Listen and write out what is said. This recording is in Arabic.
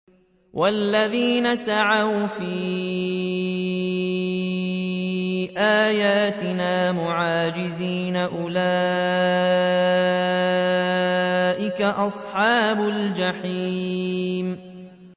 وَالَّذِينَ سَعَوْا فِي آيَاتِنَا مُعَاجِزِينَ أُولَٰئِكَ أَصْحَابُ الْجَحِيمِ